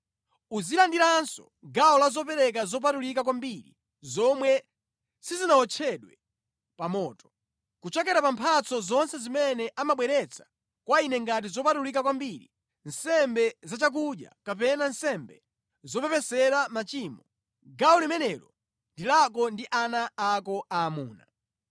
Uzilandiranso gawo la zopereka zopatulika kwambiri zomwe sizinawotchedwe pa moto. Kuchokera pa mphatso zonse zimene amabweretsa kwa Ine ngati zopatulika kwambiri, nsembe zachakudya kapena nsembe zopepesera machimo, gawo limenelo ndi lako ndi ana ako aamuna.